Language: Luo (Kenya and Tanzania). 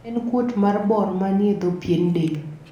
en kuot mar bor manie dho pien del